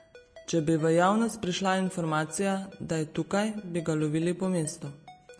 Če bi v javnost prišla informacija, da je tukaj, bi ga lovili po mestu.